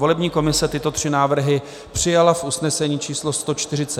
Volební komise tyto tři návrhy přijala v usnesení číslo 142 ze dne 15. října.